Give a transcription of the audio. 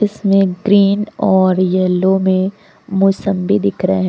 इसमें ग्रीन और येलो में मौसम्मी दिख रहे हैं।